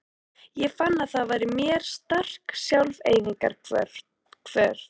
Ég fann að það var í mér sterk sjálfseyðingarhvöt.